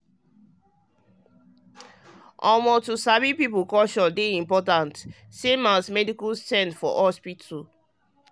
like so um to sabi people culture dey important same as medical sense for hospital.